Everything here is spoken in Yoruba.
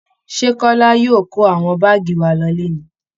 Ṣé kọ́lá yóò kó àwọn báàgì wa lọle ni